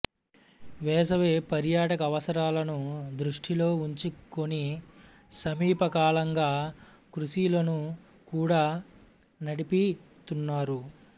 వేసవి పర్యాటక అవసరాలను దృస్హ్టిలో ఉంచుకుని సమీపకాలంగా క్రూసీలను కూడా నడుపితున్నారు